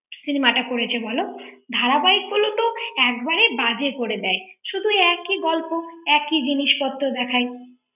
cinema টা করেছে বল ধারাবাহিক গুলোতো একবারে বাজে করে দেয় শুধু একই গল্প একই জিনিসপত্র দেখায়